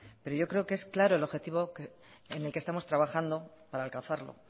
pero yo creo que es claro el objetivo en el que estamos trabajando para alcanzarlo